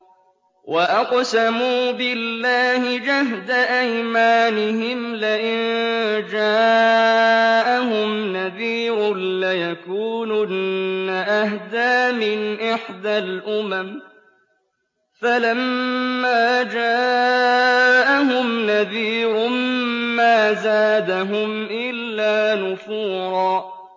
وَأَقْسَمُوا بِاللَّهِ جَهْدَ أَيْمَانِهِمْ لَئِن جَاءَهُمْ نَذِيرٌ لَّيَكُونُنَّ أَهْدَىٰ مِنْ إِحْدَى الْأُمَمِ ۖ فَلَمَّا جَاءَهُمْ نَذِيرٌ مَّا زَادَهُمْ إِلَّا نُفُورًا